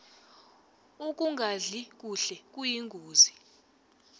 ukungadli kuhle kuyingozi